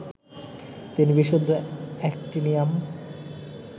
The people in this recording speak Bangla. তিনি বিশুদ্ধ অ্যাক্টিনিয়াম